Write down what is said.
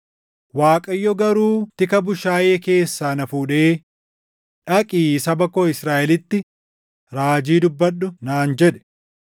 Waaqayyo garuu tika bushaayee keessaa na fuudhee, ‘Dhaqii saba koo Israaʼelitti raajii dubbadhu’ naan jedhe.